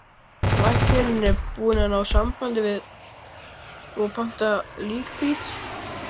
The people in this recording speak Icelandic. Læknirinn er búinn að ná sambandi og pantar líkbíl.